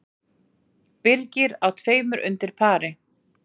Birgir á tveimur undir pari